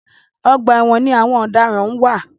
Ọgbà ẹ̀wọ̀n ni àwọn ọ̀daràn wà.